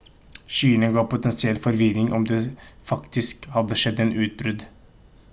skyene gav potensiell forvirring om det faktisk hadde skjedd et utbrudd